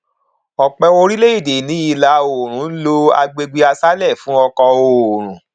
ọpọ orílẹ èdè ní ìlà oòrùn ń lo agbègbè aṣálẹ fún ọkọ oòrùn